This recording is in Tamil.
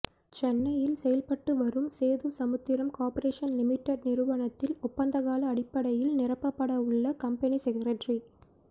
சென்னையில் செயல்பட்டு வரும் சேது சமுத்திரம் கார்ப்பரேஷன் லிமிடெட் நிறுவனத்தில் ஒப்பந்தகால அடிப்படையில் நிரப்பப்பட உள்ள கம்பெனி செகரட்டரி